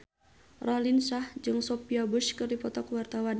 Raline Shah jeung Sophia Bush keur dipoto ku wartawan